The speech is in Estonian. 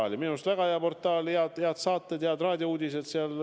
See on minu arust väga hea portaal – head saated, head raadiouudised.